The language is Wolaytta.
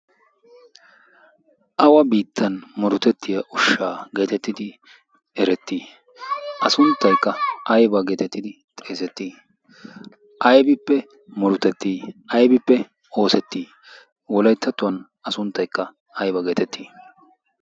Awa biittan murutettiyaa ushshaa geetettidi eretti? A sunttaykka ayba geetettidi xeesetti? Aybippe murutetti? Aybippe oosetti? Wolayttattuwaan a sunttaykka ayba geetetti?